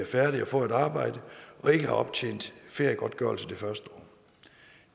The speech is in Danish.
færdige og får et arbejde og ikke har optjent feriegodtgørelse det første år